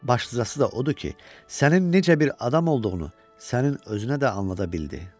Başlıcası da odur ki, sənin necə bir adam olduğunu sənin özünə də anlada bildi.